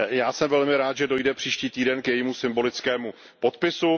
Já jsem velmi rád, že dojde příští týden k jejímu symbolickému podpisu.